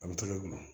A bɛ tolu